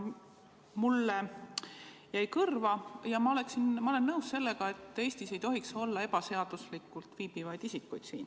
Mulle jäi kõrva ja ma olen nõus sellega, et Eestis ei tohiks olla siin ebaseaduslikult viibivaid isikuid.